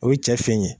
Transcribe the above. O ye cɛ fin ye